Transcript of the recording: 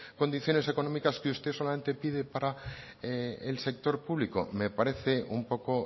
condiciones económicas que usted solamente pide para el sector público me parece un poco